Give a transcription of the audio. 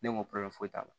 Ne ko foyi t'a la